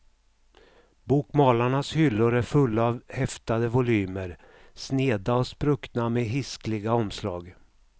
Bokmalarnas hyllor är fulla av häftade volymer, sneda och spruckna med hiskliga omslag.